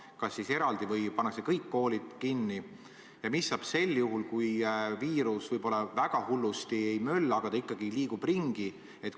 Kas need suletakse eraldi või pannakse kõik koolid kinni ja mis saab siis, kui viirus võib-olla väga hullusti ei mölla, aga ikkagi liigub ringi?